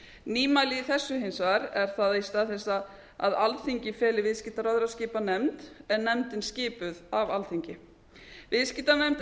nýmælið í þessu hins vegar er það að í stað þess að alþingi feli viðskiptaráðherra að skipa nefnd er nefndin skipuð af alþing viðskiptanefnd er